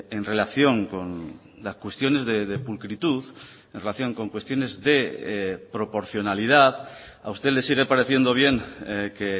en relación con las cuestiones de pulcritud en relación con cuestiones de proporcionalidad a usted le sigue pareciendo bien que